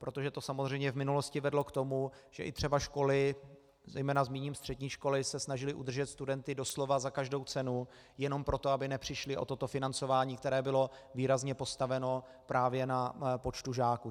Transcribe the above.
Protože to samozřejmě v minulosti vedlo k tomu, že i třeba školy, zejména zmíním střední školy, se snažily udržet studenty doslova za každou cenu jenom proto, aby nepřišly o toto financování, které bylo výrazně postaveno právě na počtu žáků.